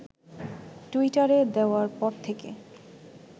টুইটারে দেওয়ার পর থেকে